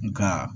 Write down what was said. Nga